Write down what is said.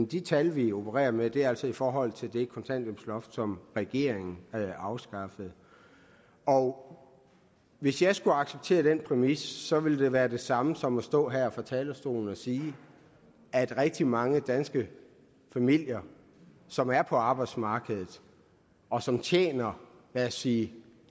de tal vi opererer med er altså i forhold til det kontanthjælpsloft som regeringen afskaffede og hvis jeg skulle acceptere den præmis så ville det være det samme som at stå her på talerstolen og sige at rigtig mange danske familier som er på arbejdsmarkedet og som tjener lad os sige